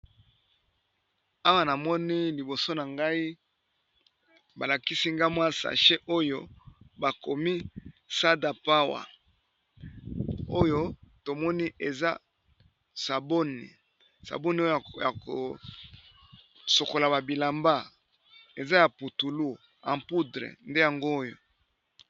Awa namoni liboso na ngai balakisi nga mwa sache oyo bakomi sadapowe oyo tomoni eza saboni, saboni oyo ya kosokola ba bilamba eza ya putulu en poudre nde yango oyo.